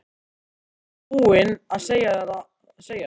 Var ég ekki búin að segja þér það?